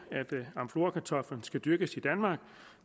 amflorakartoflen skal dyrkes i danmark